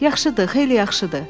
Yaxşıdır, xeyli yaxşıdır.